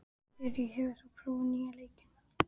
Þyri, hefur þú prófað nýja leikinn?